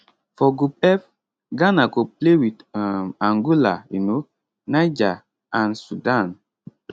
for group f ghana go play wit um angola um niger and sudan